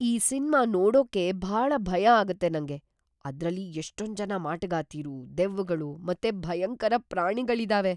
ಈ ಸಿನ್ಮಾ ನೋಡೋಕ್ಕೇ ಭಾಳ ಭಯ ಆಗತ್ತೆ ನಂಗೆ. ಅದ್ರಲ್ಲಿ ಎಷ್ಟೊಂಜನ ಮಾಟಗಾತೀರು, ದೆವ್ವಗಳು ಮತ್ತೆ ಭಯಂಕರ ಪ್ರಾಣಿಗಳಿದಾವೆ.